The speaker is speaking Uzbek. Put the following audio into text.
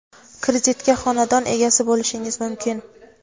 kreditga xonadon egasi bo‘lishingiz mumkin.